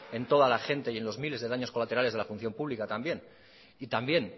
en toda la gente y en los miles de daños colaterales de la función pública también y también